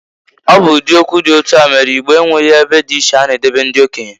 Ọ bụ ụdị okwu dị otu a mere na Igbo enweghi ebe dị iche ha na-edobe ndị okenye.